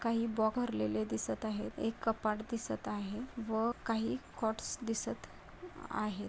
काही भरलेले दिसत आहेत एक कपाट दिसत आहे व काही कॉटस दिसत आहे.